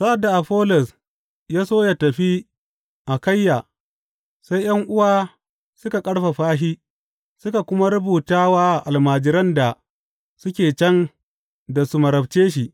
Sa’ad da Afollos ya so ya tafi Akayya, sai ’yan’uwa suka ƙarfafa shi suka kuma rubuta wa almajiran da suke can da su marabce shi.